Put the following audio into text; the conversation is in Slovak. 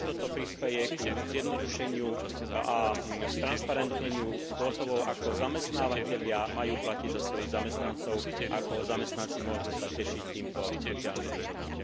A tiež toto prispeje ku zjednodušeniu a stransparentneniu spôsobov, ako zamestnávatelia majú platiť za svojich zamestnancov a ako sa zamestnanci môžu tešiť týmto sociálnym výhodám.